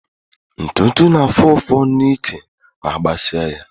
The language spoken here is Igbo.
Ntụtụ na-afú ụfụ n'ike ma agbasi á ya.